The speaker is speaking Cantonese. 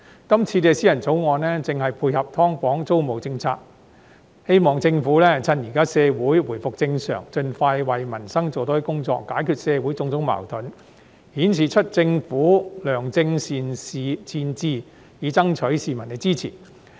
今天這項議員法案正配合"劏房"租管政策，希望政府藉着社會現在回復正常，盡快為民生做多一些工作，解決社會種種矛盾，顯示出政府的良政善治，爭取市民支持。